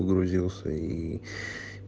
погрузился и